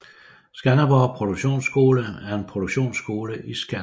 Skanderborg Produktionsskole er en produktionsskole i Skanderborg